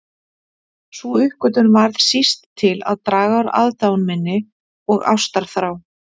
Sú uppgötvun varð síst til að draga úr aðdáun minni og ástarþrá.